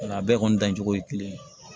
Nka a bɛɛ kɔni dancogo ye kelen ye